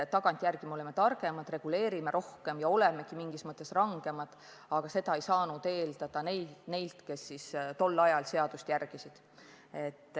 Tagantjärele me oleme targemad, reguleerime rohkem ja olemegi mingis mõttes rangemad, aga seda ei saanud eeldada neilt, kes tol ajal tolleaegseid seadusi järgisid.